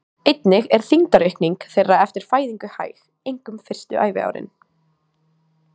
Einnig er þyngdaraukning þeirra eftir fæðingu hæg, einkum fyrstu æviárin.